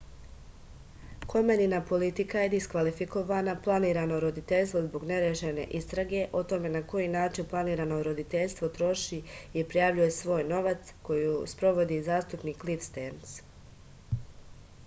komenina politika je diskvalifikovala planirano roditeljstvo zbog nerešene istrage o tome na koji način planirano roditeljstvo troši i prijavljuje svoj novac koju sprovodi zastupnik klif sterns